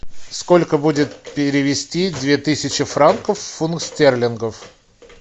сколько будет перевести две тысячи франков в фунт стерлингов